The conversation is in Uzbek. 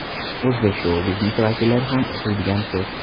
O‘zbek shou biznes vakillari ham o‘qiydigan post.